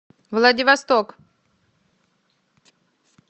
владивосток